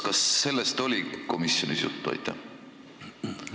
Kas sellest oli komisjonis juttu?